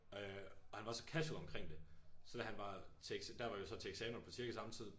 Øh og han var så casual omkring det så da han var til der var vi så til eksamen på cirka samme tid